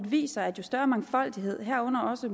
viser at jo større mangfoldighed herunder også